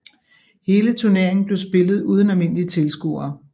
Hele turneringen blev spillet uden almindelige tilskuere